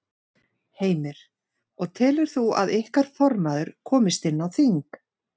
Heimir: Og telur þú að ykkar formaður komist inn á þing?